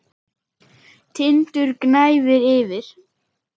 Tindur gnæfir yfir.